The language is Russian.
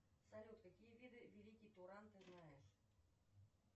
салют какие виды великий туран ты знаешь